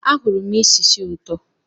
Ahụrụ m isi sì ụtọ.